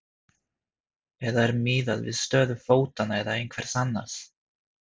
Eða er miðað við stöðu fótanna eða einhvers annars?